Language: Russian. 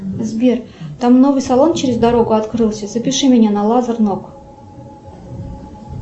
сбер там новый салон через дорогу открылся запиши меня на лазер ног